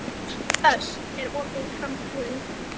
Ösp, er opið í Krambúðinni?